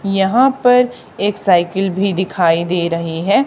यहां पर एक साइकिल भी दिखाई दे रही है।